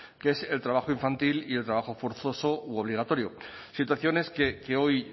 que es el trabajo infantil y el trabajo forzoso u obligatorio situaciones que hoy